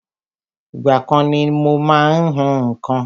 Ìgbà kan ni mo má ń hún nǹkan